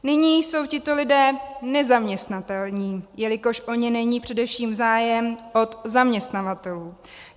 Nyní jsou tito lidé nezaměstnatelní, jelikož o ně není především zájem od zaměstnavatelů.